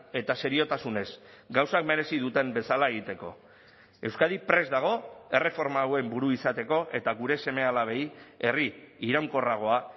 eta seriotasunez gauzak merezi duten bezala egiteko euskadi prest dago erreforma hauen buru izateko eta gure seme alabei herri iraunkorragoa